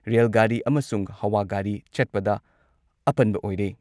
Rail ꯒꯥꯔꯤ ꯑꯃꯁꯨꯡ ꯍꯋꯥ ꯒꯥꯔꯤ ꯆꯠꯄꯗ ꯑꯄꯟꯕ ꯑꯣꯏꯔꯦ ꯫